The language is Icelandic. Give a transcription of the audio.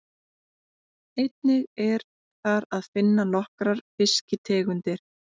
Einnig er þar að finna nokkrar fiskitegundir.